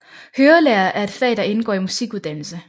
Hørelære er et fag der indgår i musikuddannelse